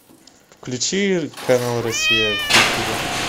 включи канал россия культура